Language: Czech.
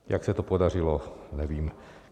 Jak se to podařilo, nevím.